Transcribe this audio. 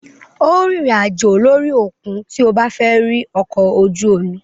Óò rìnrìn àjò lórí òkun tí o bá fẹ́ rí ọkọ̀-ojú-omi.